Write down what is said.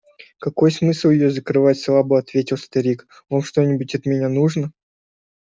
какой смысл её закрывать слабо ответил старик вам что-нибудь от меня нужно